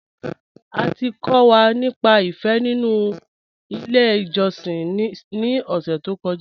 À ti kọ̀ wà nípà ìfé nínu ilẹ̀ ìjọ̀ṣìn ni ọ̀ṣẹ̀ tó kọ́ja.